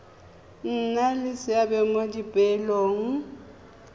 nna le seabe mo dipoelong